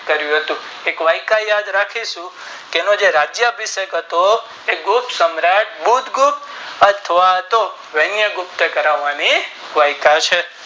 કરિયું હતું એક વ્યાખ્યા યાદ રાખીશું કે એમાં જે રાજ્ય આભિસામ હતો એ ગુપ્ત સમાર્ટ ગુપ્ત ગુપ્ત અથવા તો વન્ય ગુપ્ત કરવાની વ્યાખ્યા છે